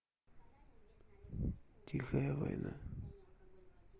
тихая война